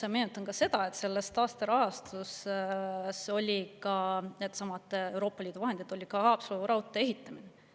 Ma meenutan, et sellest taasterahastust olid Euroopa Liidu vahendid ka Haapsalu raudtee ehitamise jaoks.